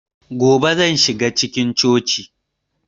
Gobe zan shiga cikin cocin